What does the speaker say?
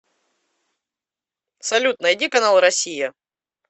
салют найди канал россия